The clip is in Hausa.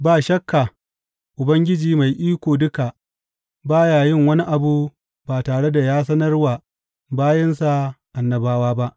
Ba shakka, Ubangiji Mai Iko Duka ba ya yin wani abu ba tare da ya sanar wa bayinsa annabawa ba.